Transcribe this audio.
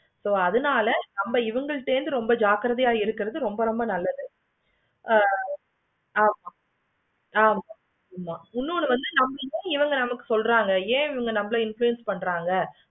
இப்போ அதுனால நம்ம இவுங்க கிட்ட வந்து ஜாக்கிரதையா இருக்கணும். ரொம்ப ரொம்ப நல்லது. ஆமா ஆமா ஆமா இன்னொன்னு வந்து நம்ம இவுங்களுக்கு சொல்றாங்க ஏன் வந்து நம்ம இவுங்கள influence பன்றாங்க.